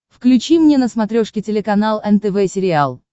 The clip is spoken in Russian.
включи мне на смотрешке телеканал нтв сериал